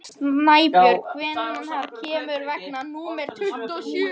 Snæbjörg, hvenær kemur vagn númer tuttugu og sjö?